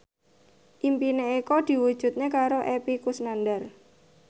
impine Eko diwujudke karo Epy Kusnandar